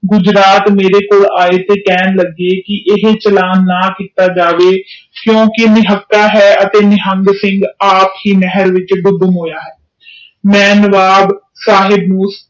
ਗੁਜਰਾਤ ਮੇਰੇ ਕੋਲ ਆਏ ਤੇ ਕਹਿਣ ਲਗੇ ਕਿ ਇਹ ਚਲਾਨ ਨਾ ਕੀਤਾ ਜਾਇ ਕਿਉਕਿ ਨਿਹੰਗ ਸਿੰਘ ਅੱਪ ਨਹਿਰ ਵਿਚ ਗੰਮ ਹੋਇਆ ਆ